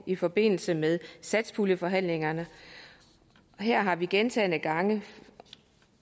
i forbindelse med satspuljeforhandlingerne og her har vi gentagne gange